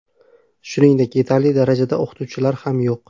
Shuningdek, yetarli darajada o‘qituvchilar ham yo‘q.